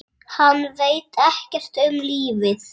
Hann veit ekkert um lífið.